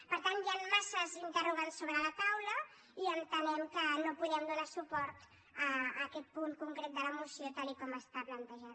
per tant hi han massa interrogants sobre la taula i entenem que no podem donar suport a aquest punt concret de la moció tal com està plantejat